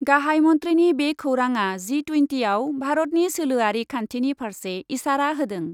गाहाइ मन्थ्रिनि बे खौराङा जि टुइन्टियाव भारतनि सोलोयारि खान्थिनि फार्से इसारा होदों।